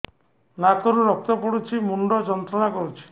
ନାକ ରୁ ରକ୍ତ ପଡ଼ୁଛି ମୁଣ୍ଡ ଯନ୍ତ୍ରଣା କରୁଛି